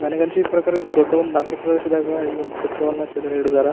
ನನಗ್ ಅನ್ಸಿದ್ ಪ್ರಕಾರ ಇದು ದೊಡ್ಡ್ದ ಒಂದ್ ನಗರ ಪ್ರದೇಶದಾಗ ಈ ವೊಂದ್ ಚಿತ್ರವನ್ನು ಚದುರಿ ಹಿಡಿದರ--